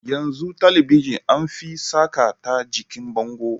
Yanzu Talabijin anfi saka ta jikin bango